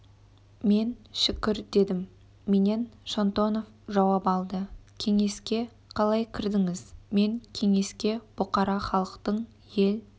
мен шүкір дедім менен шонтонов жауап алды кеңеске қалай кірдіңіз мен кеңеске бұқара халықтың ел